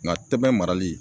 Ŋa tɛbɛn marali